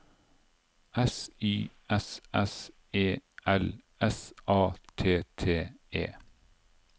S Y S S E L S A T T E